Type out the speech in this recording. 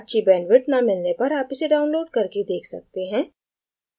अच्छी bandwidth न मिलने पर आप इसे download करके देख सकते हैं